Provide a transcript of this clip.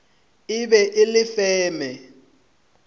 e be e le feme